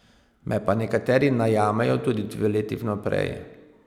Me pa nekateri najamejo tudi dve leti vnaprej.